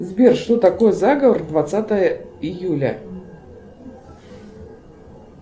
сбер что такое заговор двадцатое июля